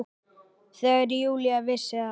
Þegar Júlía vissi að